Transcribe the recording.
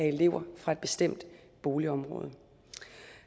elever fra et bestemt boligområde